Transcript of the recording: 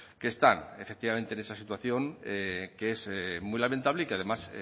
que están efectivamente en esa situación que es muy lamentable y que además